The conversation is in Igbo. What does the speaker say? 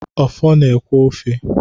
Okpor na-ekwẹ́ ofe.